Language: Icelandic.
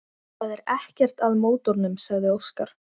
Það er ekkert að mótornum, sagði Óskar.